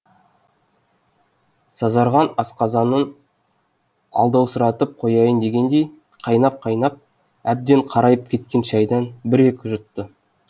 сазарған асқазанын алдаусыратып қояйын дегендей қайнап қайнап әбден қарайып кеткен шайдан бір екі жұтты